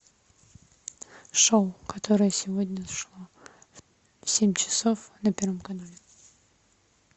шоу которое сегодня шло в семь часов на первом канале